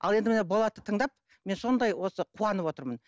ал енді міне болатты тыңдап мен сондай осы қуанып отырмын